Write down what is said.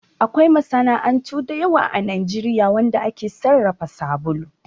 Akwai masana'antu da yawa a Najeriya wanda ake sarrafa sabulu